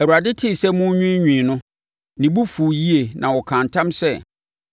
Awurade tee sɛ morenwiinwii no, ne bo fuu yie na ɔkaa ntam sɛ,